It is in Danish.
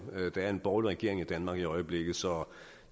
der er en borgerlig regering i danmark i øjeblikket så